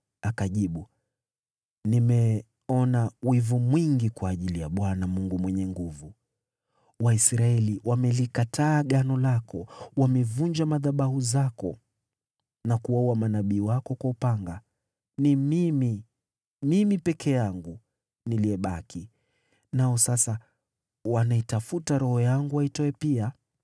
Akajibu, “Nimeona wivu mwingi kwa ajili ya Bwana Mungu Mwenye Nguvu Zote. Waisraeli wamelikataa Agano lako, wamevunja madhabahu zako na kuwaua manabii wako kwa upanga. Ni mimi, mimi peke yangu, niliyebaki, nao sasa wananitafuta ili waniangamize.”